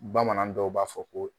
Bamanan dɔw b'a fɔ ko